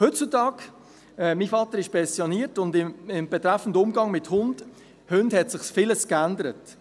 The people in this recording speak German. Heutzutage ist mein Vater pensioniert, und betreffend Umgang mit Hunden hat sich vieles geändert.